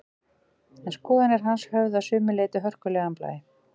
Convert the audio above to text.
En skoðanir hans höfðu að sumu leyti hörkulegan blæ.